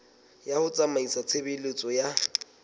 ya ho tsamaisa tshebeletso ya